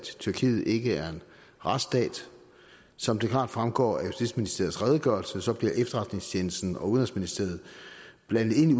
tyrkiet ikke er en retsstat som det klart fremgår af justitsministeriets redegørelse blev efterretningstjenesten og udenrigsministeriet blandet ind i